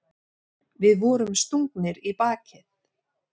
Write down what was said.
Við vorum stungnir í bakið.